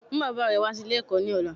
Mú bàbá re wá sí Ilé èkó ní ọ̀la